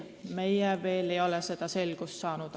Meie ei ole veel selles selgust saanud.